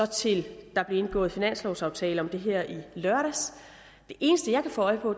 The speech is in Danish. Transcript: til at der blev indgået finanslovaftale om det her i lørdags det eneste jeg kan få øje på